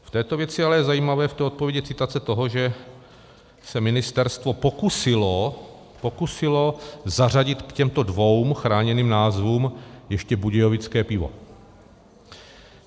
V této věci ale je zajímavé, v té odpovědi, citace toho, že se ministerstvo pokusilo zařadit k těmto dvěma chráněným názvům ještě Budějovické pivo.